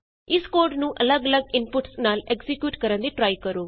ਇਸ ਕੋਡ ਨੂੰ ਅੱਲਗ ਅੱਲਗ ਇਨਪੁਟਸ ਨਾਲ ਐਕਜ਼ੀਕਿਯੂਟ ਕਰਨ ਦੀ ਟ੍ਰਾਈ ਕਰੋ